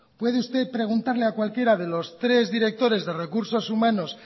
puede usted preguntarle a cualquiera de los tres directores de recursos humanos